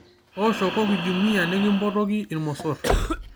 tooshoki jumia nikimpotoki irmosor